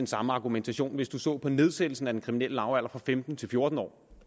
samme argumentation hvis man så på nedsættelsen af den kriminelle lavalder fra femten til fjorten år